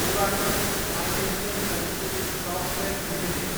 Oracle financial services software Ltd